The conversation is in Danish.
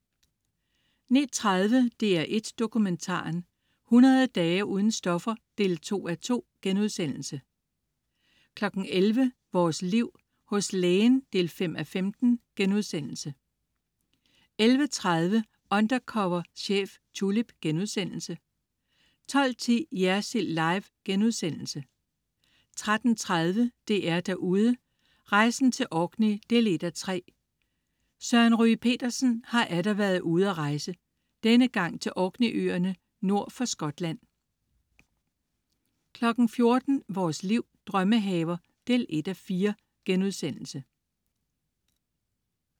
09.30 DR1 Dokumentaren: 100 dage uden stoffer 2:2* 11.00 Vores Liv. Hos Lægen 5:15* 11.30 Undercover chef, Tulip* 12.10 Jersild Live* 13.30 DR-Derude: Rejsen til Orkney 1:3. Søren Ryge Petersen har atter været ude at rejse. Denne gang til Orkney-øerne nord for Skotland 14.00 Vores Liv. Drømmehaver 1:4*